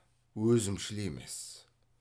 өзімшіл емес